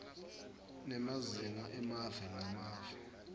nemazinga emave ngemave